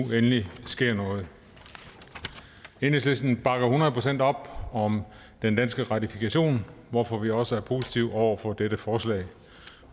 endelig sker noget enhedslisten bakker hundrede procent op om den danske ratifikation hvorfor vi også er positive over for dette forslag